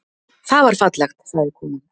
Það var fallegt, sagði konan.